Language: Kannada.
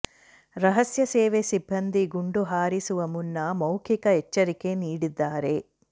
ರಹಸ್ಯ ಸೇವೆ ಸಿಬ್ಬಂದಿ ಗುಂಡು ಹಾರಿಸುವ ಮುನ್ನ ಮೌಖಿಕ ಎಚ್ಚರಿಕೆ ನೀಡಿದ್ದಾರೆ